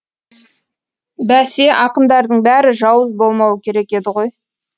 бәсе ақындардың бәрі жауыз болмауы керек еді ғой